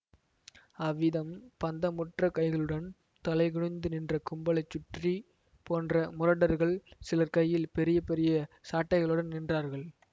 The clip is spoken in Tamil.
அவ்விதம் பந்தமுற்ற கைகளுடன் தலைகுனிந்து நின்ற கும்பலைச் சுற்றி போன்ற முரடர்கள் சிலர் கையில் பெரிய பெரிய சாட்டைகளுடன் நின்றார்கள்